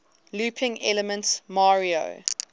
looping elements mario